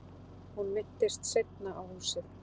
Hún minntist seinna á húsið.